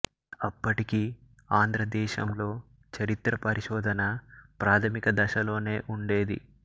అప్పటికి ఆంధ్ర దేశంలో చరిత్ర పరిశోధన ప్రాథమిక దశలోనే ఉండేది